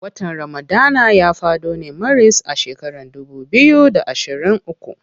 Watan ramadana ya fado ne maris a shekaran dubu biyu da ashirin uku.